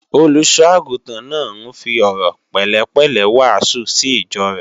Olùṣọ́-àgùntàn náà ń fi ọ̀rọ̀ pẹ̀lẹ́pẹ̀lẹ́ wàásù sí ìjọ rẹ̀